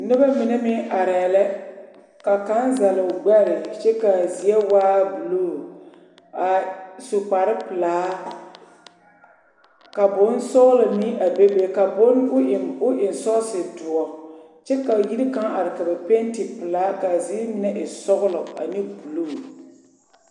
Noba mine meŋ arɛɛ la ka kaŋa zɛl o gbɛre kyɛ ka a zie waa buluu a su kpare pilaa ka bonsɔglɔ mɛŋ a bebe ka o eŋ sɔɔse doɔ kyɛ ka yiri kaŋa are ka ba penti penti pilaa kaa ziire mine e sɔglɔ ane buluu.